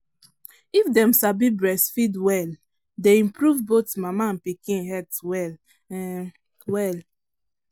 if them sabi breastfeed welle day improve both mama and pikin health well um well.